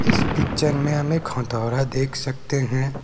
इस पिक्चर में हम एक हथोड़ा देख सकते हैं।